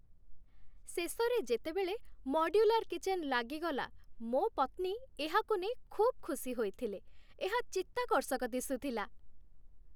ଶେଷରେ ଯେତେବେଳେ modular kitchen ଲାଗିଗଲା, ମୋ ପତ୍ନୀ ଏହାକୁ ନେଇ ଖୁବ୍ ଖୁସି ହୋଇଥିଲେ ଏହା ଚିତ୍ତାକର୍ଷକ ଦିଶୁଥିଲା!